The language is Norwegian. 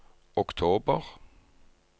oktober